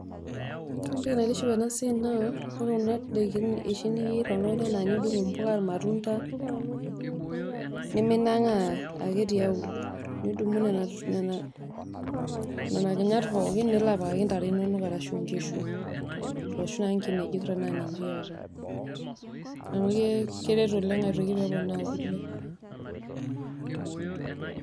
Ore entoki naitiship enasiai naa ore kuna dakin na noshi ningua oltungani anaa enidung mbuk, irmatunda, niminiminang'aa ake tiauluo, nidumu nena nena kinyat pookin nilo apikaki ntare inonok arashu nkishu, arashu naa nkinejik tanaa ninche iyata, amu keret oleng' aitoki pee eponaa kule.